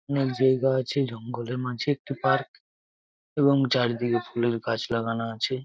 অনেক জায়গা আছে জঙ্গলের মাঝে একটি পার্ক এবং চারিদিকে ফুলের গাছ লাগানা আছে।